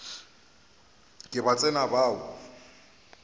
ke ba tsena ba o